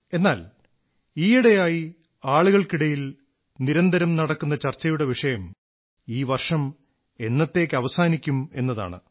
എന്നാൽ ഈയിടെയായി ആളുകൾക്കിടയിൽ നിരന്തരം നടക്കുന്ന ചർച്ചയുടെ വിഷയം ഈ വർഷം എന്നത്തേക്ക് അവസാനിക്കും എന്നതാണ്